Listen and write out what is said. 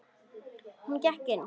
Hún gekk inn.